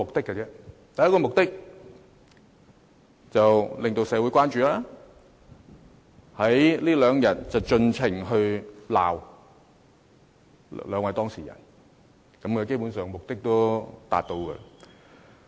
第一個目的是令社會關注，在這兩天盡情責罵兩位當事人；基本上這目的已經達到。